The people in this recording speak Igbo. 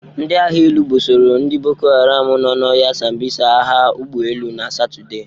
Ndị agha elu bụsoro ndị boko haram nọ n'ọhịa sambịsa agha ụgbọelu na Satọde.